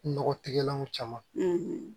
Nɔgɔ tigɛlanw caman